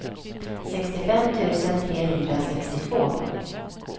sextiofem tusen trehundrasextiotvå